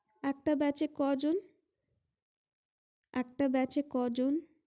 একটা beach এ কজন একটা beach এ কজন